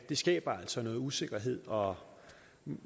det skaber altså noget usikkerhed og